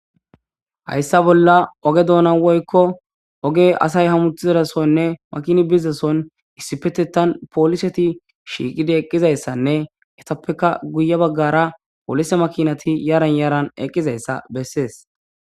hayssa bolla oge doona woykko oge asay hamuthizarasonne makini bizason issipetetan pooliseti shiiqidi eqqizayssanne etappeka guye baggara poolise makinati yaran yaaran eqqizayssa bessees